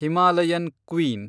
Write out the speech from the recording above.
Himalayan queen